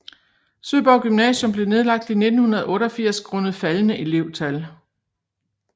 Søborg Gymnasium blev nedlagt i 1988 grundet faldende elevtal